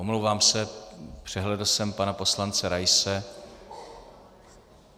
Omlouvám se, přehlédl jsem pana poslance Raise.